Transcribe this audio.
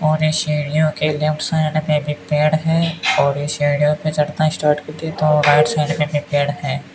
और इस सीढ़ियों के लेफ्ट साइड में भी पेड़ है और इस सीढ़ियों में चढ़ना स्टार्ट करते है तो राइट साइड --